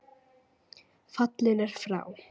Fallinn er frá.